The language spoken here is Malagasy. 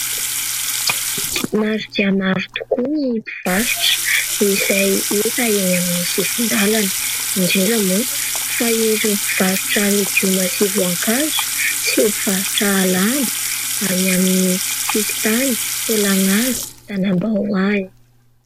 Maro dia maro tokoa ny mpivarotra izay hita eny amin'ny sisin-dalana indrindra moa fa ireo mpivarotra legioma sy voankazo sy mpivarotra lamba any amin'ny sisin-tany tolagnaro, tanambao any.